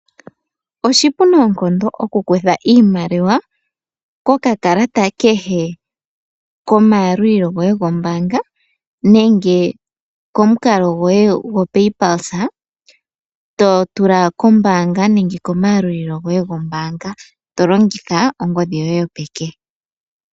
Oshipu noonkondo okukutha iimaliwa koka kalata kehe komayalulilo goye gombaanga nenge komukalo gwoye goPayPalsa. Totula kombanga nenge komayalulilo goye gombaanga tolongitha ongodhi yoye yopeke.